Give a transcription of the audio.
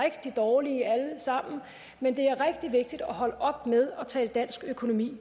rigtig dårlige alle sammen men det er rigtig vigtigt at holde op med at tale dansk økonomi